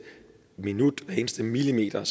minut for hver eneste millimeter